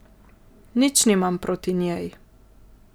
Nič nimam proti njej.